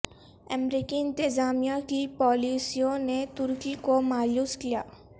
امریکی انتظامیہ کی پالیسیوں نے ترکی کو مایوس کیا ہے